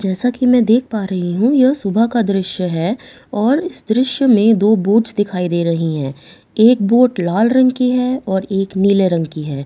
जैसा कि मैं देख पा रही हूं यह एक सुबह का दृश्य है और दृश्य में दो बोट्स दिखाई दे रहे हैं एक बोट लाल रंग की है और एक नीले रंग की है ।